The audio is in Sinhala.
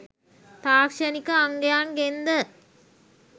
තාක්ෂණික අංගයන්ගෙන් ද